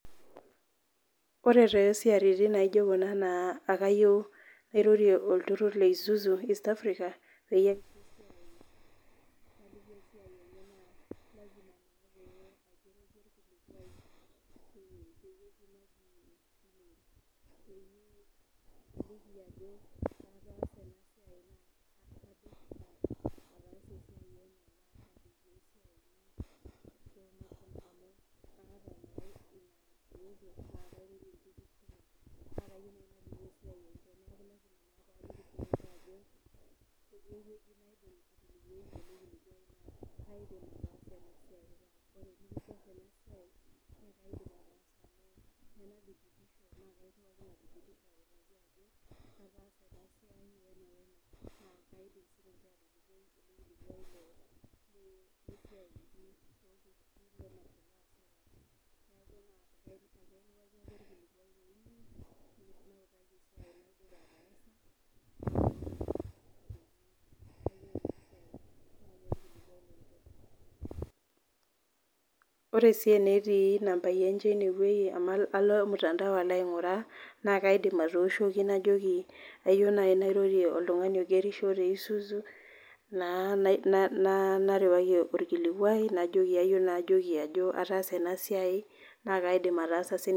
Ore tesiaritin naijo kuna na akayieu nairoriw olturur le isuzu east Africa ore si enetii nambai enche inewueji nalo ormutandao alo ainguraa nakaidim atooshoki najoki kayieu nai nairoriw oltungani oigerisho te isuzu na narewki orkilikwai najoki kayieu nai najoki ataasa enasiai na kaidim ataasa sininye.